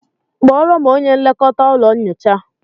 Kpọrọ m onye nlekọta ụlọ nyocha